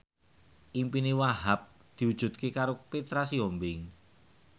impine Wahhab diwujudke karo Petra Sihombing